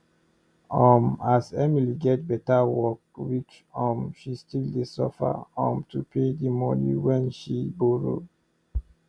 um as emily get better work reach um she still dey suffer um to pay the money wen she borrow